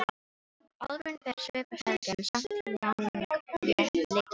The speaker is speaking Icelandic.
Álfurinn ber svip af Helga en er samt langleitari.